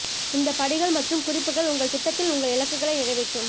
இந்த படிகள் மற்றும் குறிப்புகள் உங்கள் திட்டத்தில் உங்கள் இலக்குகளை நிறைவேற்றும்